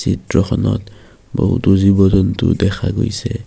চিত্ৰখনত বহুতো জীৱ-জন্তু দেখা গৈছে।